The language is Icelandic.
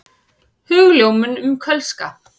Hugljómun um kölska.